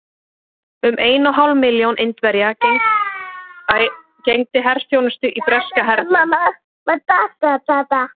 Um ein og hálf milljón Indverja gegndi herþjónustu í breska hernum.